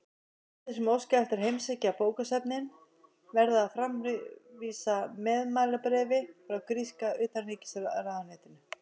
Gestir sem óska eftir að heimsækja bókasöfnin verða að framvísa meðmælabréfi frá gríska utanríkisráðuneytinu.